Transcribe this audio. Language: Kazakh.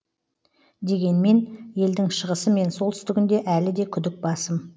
дегенмен елдің шығысы мен солтүстігінде әлі де күдік басым